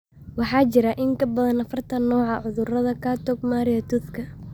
Waxaa jira in ka badan afartaan nooc oo ah cudurka Charcot Marie Toothka.